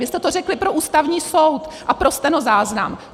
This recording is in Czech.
Vy jste to řekli pro Ústavní soud a pro stenozáznam!